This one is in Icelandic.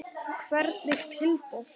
Hvernig tilboð?